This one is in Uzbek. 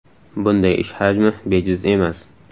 Bunday ish hajmi bejiz emas.